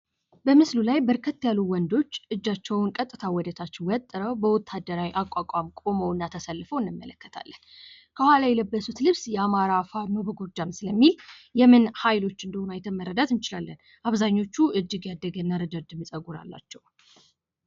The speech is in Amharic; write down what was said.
በምስሉ ላይ በርከት ያሉ ወንዶች እጃቸውን ቀጥታ ወደ ታች ወጥረው በወታደራዊ አቋቋም ቁመው እና ተሰልፈው እንመለከታለን። ከኋላ የለበሱት ልብስ የአማራ ፋኖ በጎጃም ስለሚል የምን ሀይሎች እንደሆኑ አይተን መረዳት እንችላለን አብዛኞቹ እጅግ ያደገ እና ረጃጅም ፀጉር አላቸው።